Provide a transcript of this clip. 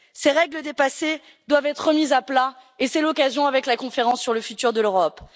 Ces règles dépassées doivent être remises à plat et c'est l'occasion avec la Conférence sur l'avenir de l'Europe.